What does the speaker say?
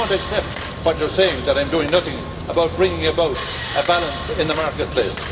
supply. So I do not accept it when you say that that I am doing nothing about bringing about a balance in the marketplace.